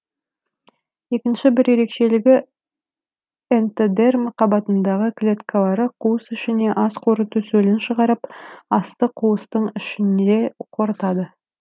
екінші бір ерекшелігі энтодерма қабатындағы клеткалары қуыс ішіне ас қорыту сөлін шығарып асты қуыстың ішінде қорытады